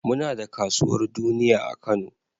Muna da kasuwar duniya a Kano.